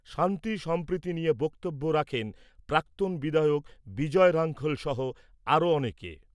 শান্তি সম্প্রীতি নিয়ে বক্তব্য রাখেন প্রাক্তন বিধায়ক বিজয় রাঙ্খল সহ আরও অনেকে।